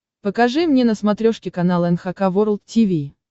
покажи мне на смотрешке канал эн эйч кей волд ти ви